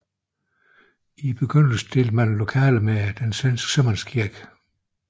I begyndelsen delte man lokaler med den svenske sømandskirke